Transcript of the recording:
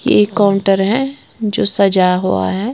ये एक काउंटर है जो सजा हुआ है।